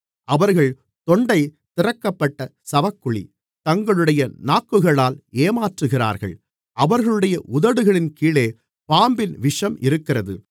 அவர்கள் தொண்டை திறக்கப்பட்ட சவக்குழி தங்களுடைய நாக்குகளால் ஏமாற்றுகிறார்கள் அவர்களுடைய உதடுகளின் கீழே பாம்பின் விஷம் இருக்கிறது